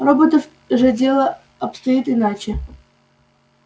у роботов же дело обстоит иначе